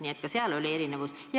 Nii et ka seal oli erinevus.